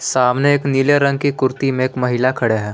सामने एक नीले रंग की कुर्ती में एक महिला खड़े है।